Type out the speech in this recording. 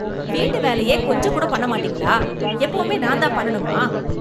வீட்டு வேலையே கொஞ்சம் கூட பண்ண மாட்டிங்களா எப்பவுமே நான் தான் பண்ணனும்மா